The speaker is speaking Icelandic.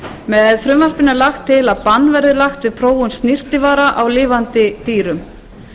með frumvarpinu er lagt til bann verði lagt við prófun snyrtivara á lifandi dýrum